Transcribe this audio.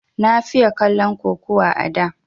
Na fiye kallon kukuwa a da